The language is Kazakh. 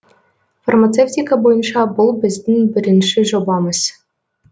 фармацевтика бойынша бұл біздің бірінші жобамыз